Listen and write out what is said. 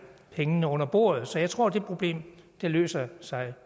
pengene under bordet så jeg tror det problem løser sig